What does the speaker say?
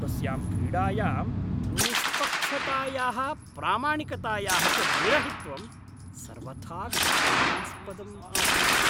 तस्यां क्रीडायां निष्पक्षतायाः प्रामाणिकतायाः च विरहित्वं सर्वथा घृणास्पदम् आसीत्।